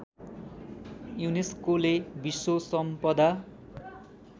युनेस्कोले विश्व सम्पदा